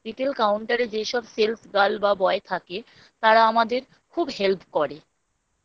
Retail Counter এ যেসব Sales Boy বা Girl থাকে তারা আমাদের খুব Help করে